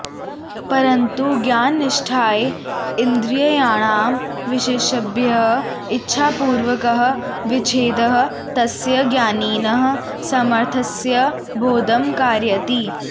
परन्तु ज्ञाननिष्ठायै इन्द्रियाणां विषयेभ्यः इच्छापूर्वकः विच्छेदः तस्य ज्ञानिनः सामर्थ्यस्य बोधं कारयति